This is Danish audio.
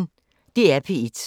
DR P1